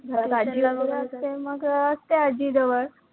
घरात आजी वैगरे असते, मग असते आजीजवळ